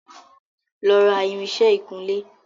Lọ ra irinsẹ́ ìkunlé!